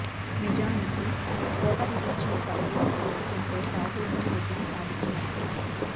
నిజానికి కోత విధించిన పరుగూ కలుపుకుంటే రాహుల్ సేన విజయం సాధించినట్టే